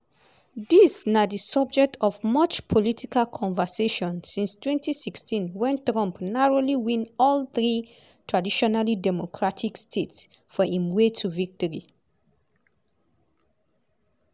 dis na di subject of much political conversation since 2016 wen trump narrowly win all three traditionally democratic states for im way to victory.